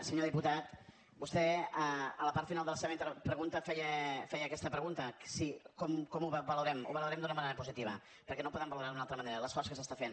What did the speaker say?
senyor diputat vostè a la part final de la seva pregunta feia aquesta pregunta com ho valorem ho valorem d’una manera positiva perquè no podem valorar lo d’una altra manera l’esforç que s’està fent